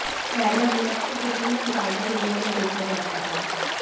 पहले अभिनव को किचन या गार्डन एरिया में देखा जाता था